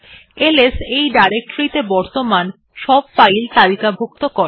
LS এই directory ত়ে বর্তমান সব ফাইল তালিকাভুক্ত করে